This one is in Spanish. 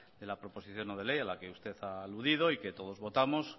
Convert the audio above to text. de la proposición no de ley a la que usted ha aludido y que todos votamos